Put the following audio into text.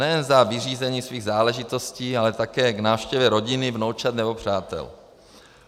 Nejen za vyřízením svých záležitostí, ale také k návštěvě rodiny, vnoučat nebo přátel.